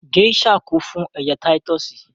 Gèésà kún fún ẹja táyítọ́sì